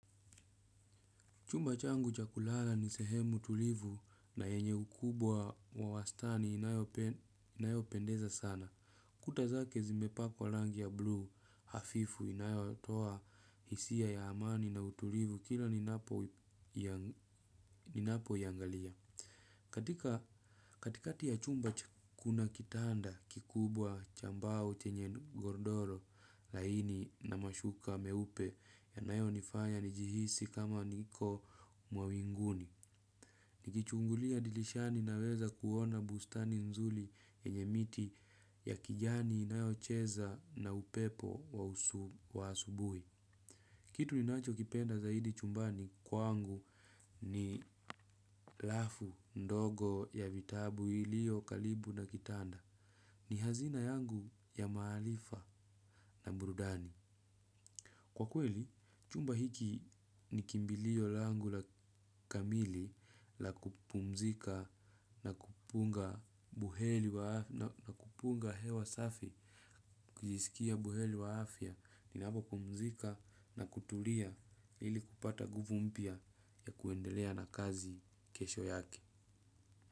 Chumba changu chakulala ni sehemu tulivu na yenye ukubwa wa wastani inayo pendeza sana. Kuta zake zimepakwa rangi ya blue hafifu inayo toa hisia ya amani na utulivu kila ninapoiangalia. Katika katikati ya chumba kuna kitanda kikubwa cha mbao chenye gordoro laini na mashuka meupe yanayo nifanya nijihisi kama niko mwawinguni. Nikichungulia dilishani naweza kuona bustani nzuri yenye miti ya kijani inayo cheza na upepo wa usu wa asubuhi. Kitu ninacho kipenda zaidi chumbani kwangu ni lafu ndogo ya vitabu iliyo karibu na kitanda. Ni hazina yangu ya maarifa na burudani. Kwa kweli, chumba hiki ni kimbilio langu la kamili la kupumzika na kupunga na kupunga hewa safi, kujiskia buheri wa afya, ninapopumzika na kutulia ili kupata nguvu mpia ya kuendelea na kazi kesho yake.